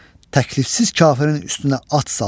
Təklifsiz kafirin üstünə at saldılar.